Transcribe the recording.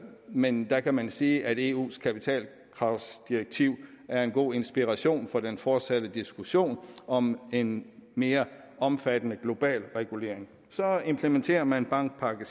men der kan man sige at eus kapitalkravsdirektiv er en god inspiration for den fortsatte diskussion om en mere omfattende global regulering så implementerer man bankpakke vi